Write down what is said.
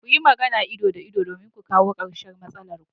Kuyi magana ido da ido domin ku kawo karshen matsalar.